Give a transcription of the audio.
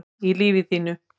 í lífi þínu